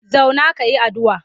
Zauna ka yi addu'a!